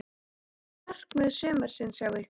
Hvert er markmið sumarsins hjá ykkur?